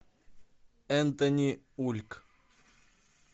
энтони ульк